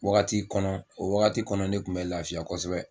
Wagati kɔnɔ o wagati kɔnɔ ne kun bɛ lafiya kosɛbɛ